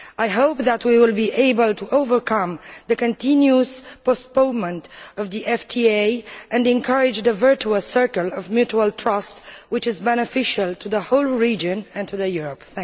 I hope that we will be able to overcome the continuous postponement of the FTA and encourage the virtuous circle of mutual trust, which is beneficial to the whole region and to Europe.